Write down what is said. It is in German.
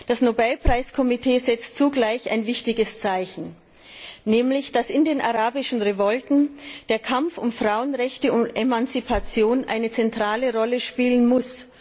Das Nobelpreis Komitee setzt zugleich ein wichtiges Zeichen, nämlich dass in den arabischen Revolten der Kampf um Frauenrechte und Emanzipation eine zentrale Rolle spielen muss.